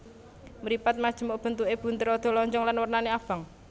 Mripat majemuk bentuké bunder rada lonjong lan wernané abang